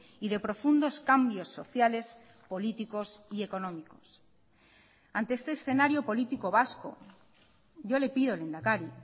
y de profundos cambios sociales políticos y económicos ante este escenario político vasco yo le pido lehendakari